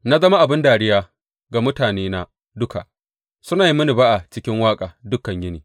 Na zama abin dariya ga mutanena duka; suna yi mini ba’a cikin waƙa dukan yini.